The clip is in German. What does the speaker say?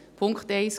Punkt 1: